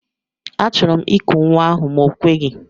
Achọrọ m iku nwa ahụ ma o kweghi.